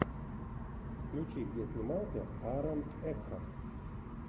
включи где снимался аарон экхарт